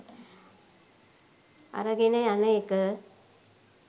අරගෙන යන එක.